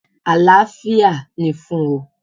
Àlàáfíà ni fún ọ!